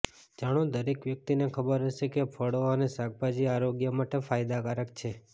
જાણો દરેક વ્યક્તિને ખબર હશે કે ફળો અને શાકભાજી આરોગ્ય માટે ફાયદાકારક છે